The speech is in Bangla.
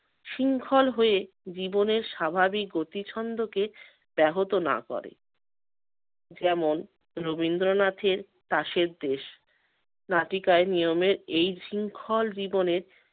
শৃংখল হয়ে জীবনের স্বাভাবিক গতি ছন্দকে ব্যাহত না করে, যেমন- রবীন্দ্রনাথের কাসের দেশ নাটিকায় নিয়মের এই শৃংখল জীবনের